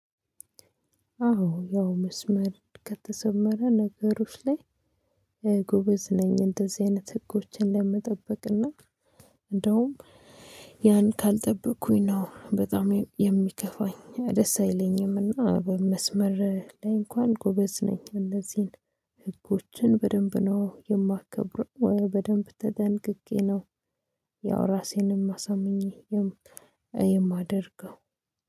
አዎ ያው መስመር ከተሰመረ ነገሮች ላይ ጎበዝ ነኝ እንደዚህ አይነት ህጎችን ለመጠበቅና እንደውም ያን ካልጠበቅኩኝ ነው በጣም የሚከፋኝ ደስ አይለኝም እና በመስመር ላይ እንኳን ጎበዝ ነኝ እንደዚህ ህጎችን በደንብ ነው የማከብረው በደንብ ተጠንቅቄ ነው። ያው ራሴንም አሳምኜ የማደርገው